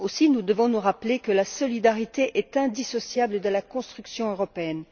Nous devons nous rappeler, aussi, que la solidarité est indissociable de la construction européenne.